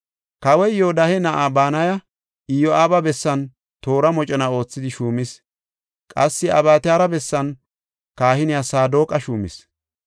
Kawoy Yoodahe na7aa Banaya Iyo7aaba bessan toora mocona oothidi shuumis; qassi Abyataara bessan kahiniya Saadoqa shuumis.